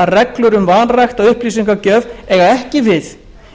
að reglur um vanrækta upplýsingagjöf eiga ekki við